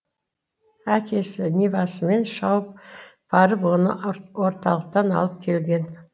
әкесі нивасымен шауып барып оны орталықтан алып келген